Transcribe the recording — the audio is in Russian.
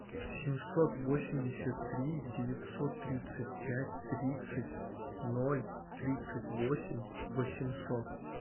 семьсот восемьдесят три девятьсот тридцать пять тридцать ноль тридцать восемь восемьсот